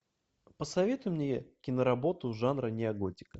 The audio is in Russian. посоветуй мне киноработу жанра неоготика